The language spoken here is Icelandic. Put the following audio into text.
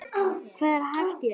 Hvað er hæft í þessu?